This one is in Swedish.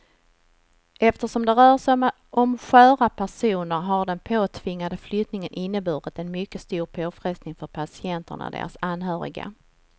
Eftersom det rör sig om sköra personer har den påtvingade flyttningen inneburit en mycket stor påfrestning för patienterna och deras anhöriga.